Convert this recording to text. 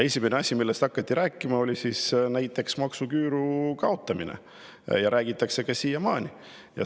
Esimene asi, millest hakati rääkima, oli näiteks maksuküüru kaotamine, ja sellest räägitakse siiamaani.